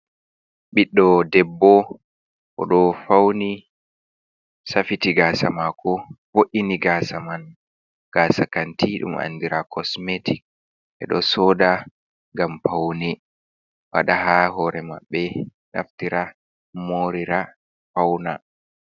Ɓiɗdo debbo oɗo fauni safiti gasa mako vo’ini gasa man gasa kanti ɗum andira kosmetic ɓeɗo soda ngam paune fala ha hore mabɓe naftira morira fauna.